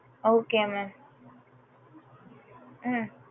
okay mam ம்